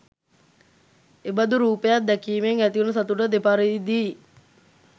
එබඳු රූපයක් දැකීමෙන් ඇතිවන සතුට දෙපරිදියි.